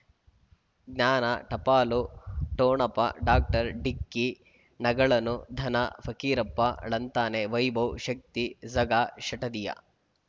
ಜ್ಞಾನ ಟಪಾಲು ಠೊಣಪ ಡಾಕ್ಟರ್ ಢಿಕ್ಕಿ ಣಗಳನು ಧನ ಫಕೀರಪ್ಪ ಳಂತಾನೆ ವೈಭವ್ ಶಕ್ತಿ ಝಗಾ ಷಟದಿಯ